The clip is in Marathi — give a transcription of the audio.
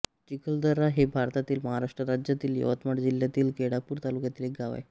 चिखलदरा हे भारतातील महाराष्ट्र राज्यातील यवतमाळ जिल्ह्यातील केळापूर तालुक्यातील एक गाव आहे